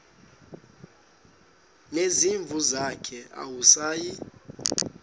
nezimvu zakhe awusayi